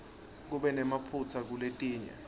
kube nemaphutsa kuletinye